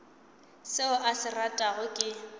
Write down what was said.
seo a se ratago ke